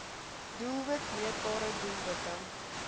doelwit meetbare doelwitte